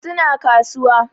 Su na kasuwa